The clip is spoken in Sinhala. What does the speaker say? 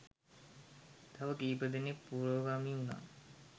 තව කීප දෙනෙක් පුරෝගාමී උණා.